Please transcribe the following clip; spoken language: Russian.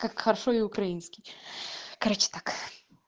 как хорошо и украинский короче так